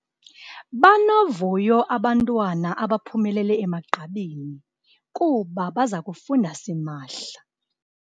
Banovuyo abantwana abaphumelele emagqabini kuba baza kufunda simahla.